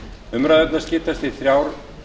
umræðurnar skiptast í þrjár